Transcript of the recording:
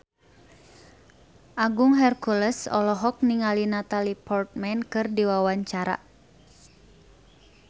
Agung Hercules olohok ningali Natalie Portman keur diwawancara